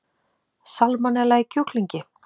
Salmonella í kjúklingi